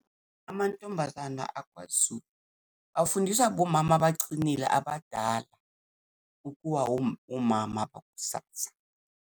Amantombazana akwaZulu, afundiswa abomama abaqinile abadala ukuba omama bakusasa.